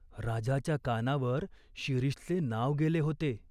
राजाच्या कानावर शिरीषचे नाव गेले होते.